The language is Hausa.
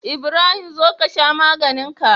Ibrahim zo kasha maganinka